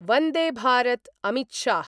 Vande Bharat Amit Shah